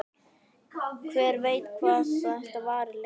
Hver veit hvað þetta varir lengi?